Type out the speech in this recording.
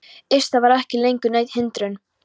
Iss. það var ekki lengur nein hindrun.